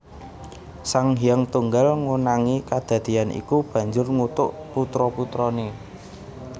Sang Hyang Tunggal ngonangi kedadéyan iku banjur ngutuk putra putrané